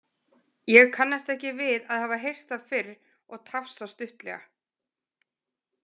Ég kannast ekki við að hafa heyrt það fyrr og tafsa stuttlega.